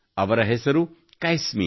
ಅವಳ ಹೆಸರು ಕೈಸ್ಮಿ